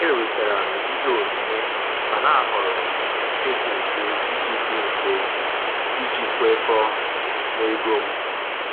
Ewetara m ihe onyinye, mana a họọrọ m nke dị mfe iji dị mfe iji kwekọọ na ego m.